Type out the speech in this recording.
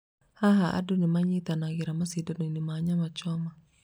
Haha, andũ nĩ manyitanagĩra macindano-inĩ ma nyama choma.